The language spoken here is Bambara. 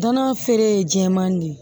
Dana feere ye jɛman de ye